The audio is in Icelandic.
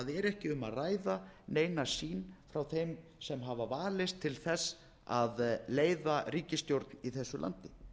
ekki um að ræða neina sýn frá þeim sem hafa valist til þess að leiða ríkisstjórn í þessu landi